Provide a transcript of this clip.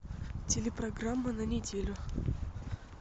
телепрограмма на неделю